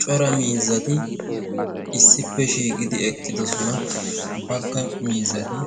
cora miizzati issippe shiiqidi eqqidosona. bagga mizzati